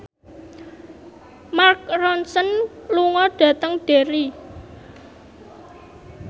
Mark Ronson lunga dhateng Derry